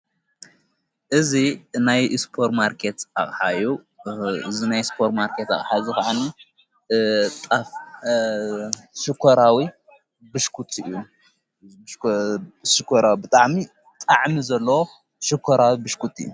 እዙ ናይ ስፖር ማርከት ኣሃዩ ዝናይ ስፖር ማርከት ሓዚ ኸዓ ሽኮራዊ ብ እዩሽኮራዊ ብጣዕሚ ጣዕሚ ዘለዎ ሽኮራዊ ብሽኩት እዩ::